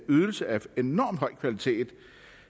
ydelse af en enormt høj kvalitet